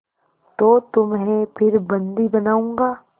तो तुम्हें फिर बंदी बनाऊँगा